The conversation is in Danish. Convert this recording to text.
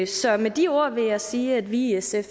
så med de ord vil jeg sige at vi i sf